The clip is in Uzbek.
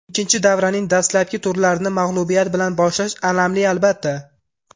Ikkinchi davraning dastlabki turlarini mag‘lubiyat bilan boshlash alamli, albatta.